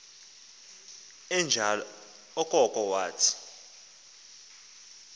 enjalo okoko wathi